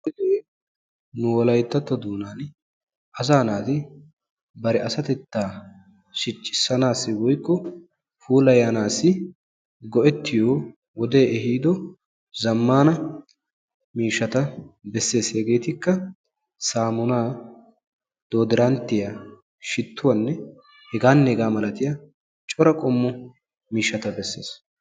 Hage nu wolayttatto doonan asaa naati bari asatetta shiccissanassi woykko puulayanassi go"ettiyo wode ehido zammana miishshata bessees. Hegetikka saammuna, dooddiranttiya, shittuwanne heganne hega malatiyaa cora qommo miishshata beessees.